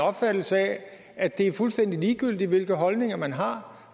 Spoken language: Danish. opfattelse af at det er fuldstændig ligegyldigt hvilke holdninger man har